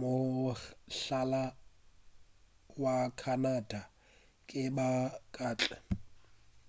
mohlala wa canada ke ba kantle